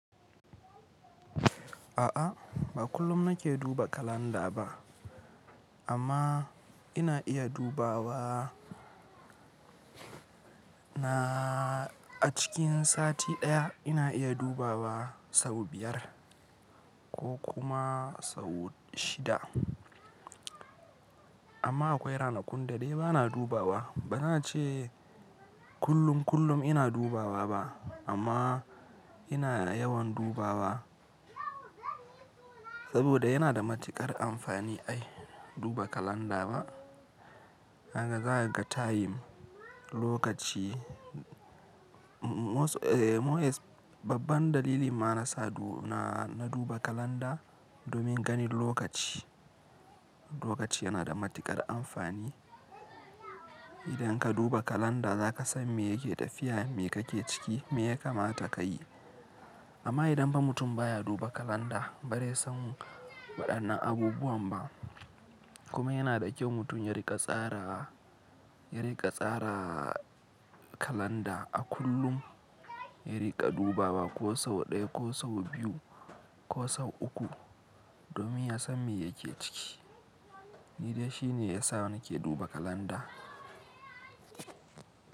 A'a, ba kullum na ke duba kalanda ba amma ina iya dubawa na a cikin sati ɗaya ina iya dubawa sau biyar ko kuma sau shida. Amma akwai ranakun da dai ba na dubawa. Bana ce kullum kullum ina dubawa ba amma ina yawan dubawa saboda yana da matuƙar amfani ai duba kalanda ba. Haka za ka taim lokaci. Babban dalilin ma na sa na duba kalanda domin gani lokaci. Lokaci yana da matuƙar amfani. Idan ka duba kalanda za ka san me yake tafiya, me kake ciki, me ya kamata ka yi. Amma idan ba mutum ba ya duba kalanda ba zai san waɗannan abubuwan ba. Kuma yana da kyau mutum ya riƙa tsara, ya riƙa tsara kalanda a kullum, ya riƙa dubawa ko sau ɗaya ko sau biyu ko sau uku domin ya san me yake ciki. Hun gan shi ne ya sa na ke duba kalanda.